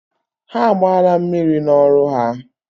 Ha agbaala mmiri n'ọrụ ha?